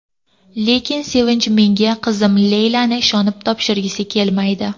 Lekin Sevinch menga qizim Leylani ishonib topshirgisi kelmaydi.